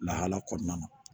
Lahala kɔnɔna na